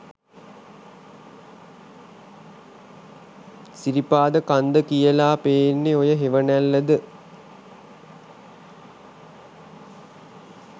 සිරිපාද කන්ද කියලා පේන්නෙ ඔය හෙවනැල්ලද?